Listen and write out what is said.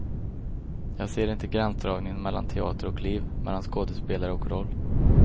Jag ser inte gränsdragningen mellan teater och liv, mellan skådespelare och roll.